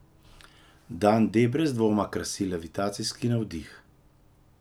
Dan D brez dvoma krasi levitacijski navdih.